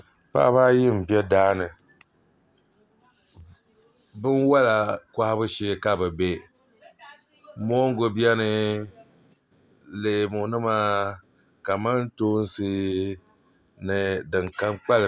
Paɣaba ayi n bɛ daani binwola kohabu shee ka bi bɛ moongu biɛni leemu nima kamantoosi ni din kam kpalim